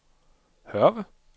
Hørve